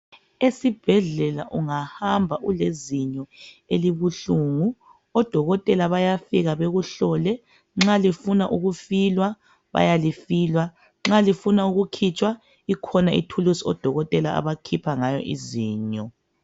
Esibhedlela ungahamba ulezinyo elibuhlungu, odokotela bayafika bekuhlole, nxa lifuna ukufilwa, bayalifila, nxa lifuna ukukhitshwa ikhona ithulusi odokotela abakhipha ngayo izinyo.